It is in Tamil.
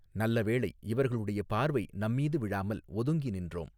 நல்ல வேளை இவர்களுடைய பார்வை நம்மீது விழாமல் ஒதுங்கி நின்றோம்.